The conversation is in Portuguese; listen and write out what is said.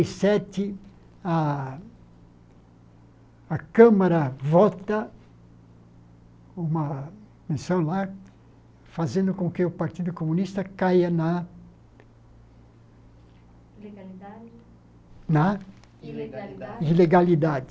e sete a, a Câmara vota uma menção lá, fazendo com que o Partido Comunista caia na Ilegalidade. Na Ilegalidade Ilegalidade